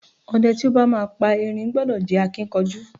O̩de̩ tí ó bá máa pa erin gbo̩do̩ jé̩ akínkanjú.